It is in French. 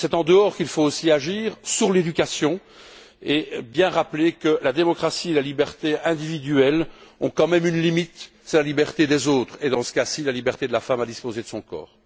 C'est en dehors qu'il faut aussi agir, sur l'éducation, et bien rappeler que la démocratie et la liberté individuelle ont quand même une limite, qui est la liberté des autres et, dans ce cas ci, la liberté de la femme à disposer de son corps.